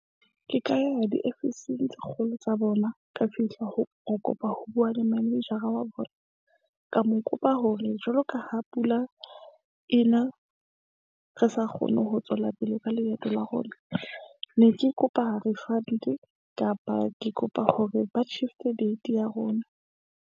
Ke ka ya diofising tse kgolo tsa bona. Ka fihla ho kopa ho bua le manejara wa bona. Ka mo kopa hore, jwalo ka ha pula e na, re sa kgone ho tswela pele ka leeto la rona. Ne ke kopa refund-e kapa ke kopa hore ba tjhifte date ya rona.